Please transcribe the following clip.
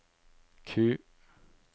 Q